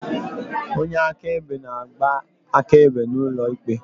Onye akaebe na-agba akaebe n'ụlọ ikpe.